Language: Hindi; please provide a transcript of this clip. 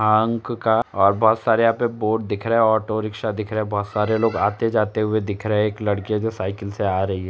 अंक का और बहोत सारे यहाँ पे बोर्ड दिख रहे हैं। ऑटो रिक्शा दिख रहा है। बहोत सारे लोग आते जाते हुए दिख रहे हैं। एक लड़की है जो साइकिल से आ रही है।